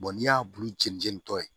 n'i y'a bulu jɛn jɛni tɔ ye